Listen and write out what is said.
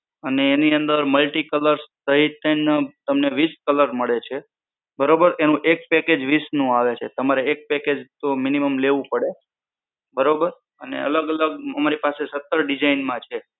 અને એની અંદર multi colour સહિત થઈ ને તમને વીશ colour મળે છે. બરોબર એનું એક packet વીશ નું આવે છે તમારે એક package તો minimum લેવું પડે બરોબર અને અલગ અલગ અમારી પાસે સતર design માં છે.